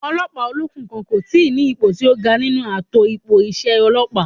Ọlọ́pàá olókùn kan kò tíi ní ipò tí ó ga nínú ààtò ipò iṣẹ́ ọlọ́pàá